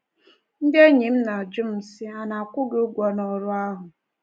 Ndị enyi m na-ajụ m sị, ‘A na-akwụ gị ụgwọ n’ọrụ ahụ? ’